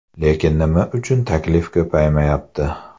Lekin nima uchun taklif ko‘paymayapti?